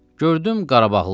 Gördüm Qarabağlıdır.